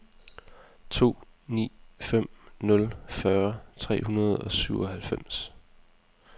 to ni fem nul fyrre tre hundrede og syvoghalvfems